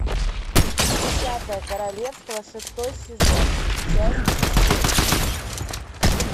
десятое королевство шестой сезон часть семь